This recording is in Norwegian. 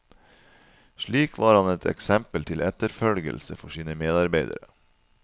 Slik var han et eksempel til etterfølgelse for sine medarbeidere.